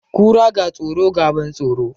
Kura, ga tsoro, ga ban tsoro.